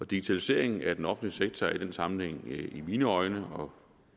digitaliseringen af den offentlige sektor er i den sammenhæng i mine øjne og